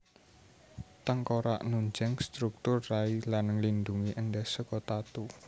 Tengkorak nunjang struktur rai lan nglindhungi endhas saka tatu